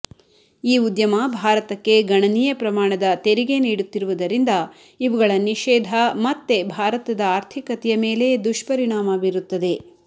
ಈ ಉದ್ಯಮ ಭಾರತಕ್ಕೆ ಗಣನೀಯ ಪ್ರಮಾಣದ ತೆರಿಗೆ ನೀಡುತ್ತಿರುವುದರಿಂದ ಇವುಗಳ ನಿಷೇಧ ಮತ್ತೆ ಭಾರತದ ಆರ್ಥಿಕತೆಯ ಮೇಲೇ ದುಷ್ಪರಿಣಾಮ ಬೀರುತ್ತದೆ